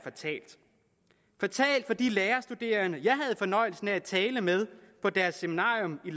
fatalt for de lærerstuderende jeg havde fornøjelsen af at tale med på deres seminarium i